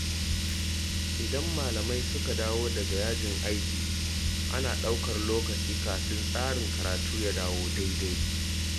Idan malamai suka dawo daga yajin aiki ana ɗaukar lokaci kafin tsarin karatu ya dawo daidai.